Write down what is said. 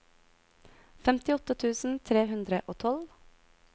femtiåtte tusen tre hundre og tolv